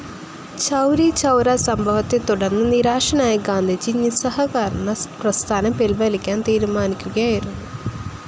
ചൗരിചൗരാ സംഭവത്തെത്തുടർന്ന് നിരാശനായ ഗാന്ധിജി നിസ്സഹകരണപ്രസ്ഥാനം പിൻവലിക്കാൻ തീരുമാനിക്കുകയായിരുന്നു.